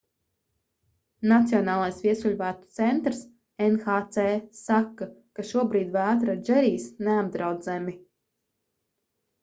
nacionālais viesuļvētru centrs nhc saka ka šobrīd vētra džerijs neapdraud zemi